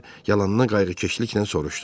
Deyə yalandan qayğıkeşliklə soruşdu.